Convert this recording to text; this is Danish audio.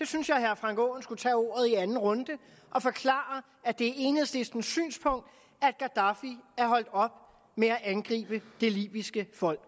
synes jeg at herre frank aaen skulle tage ordet i anden runde og forklare at det er enhedslistens synspunkt at gaddafi er holdt op med at angribe det libyske folk